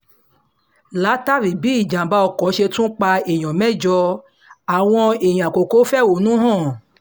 látàrí bí ìjàm̀bá ọkọ̀ ṣe tún pa èèyàn mẹ́jọ àwọn èèyàn àkókò fẹ̀hónú hàn